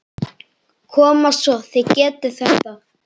Koma svo, þið getið þetta!